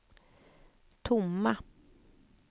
tomma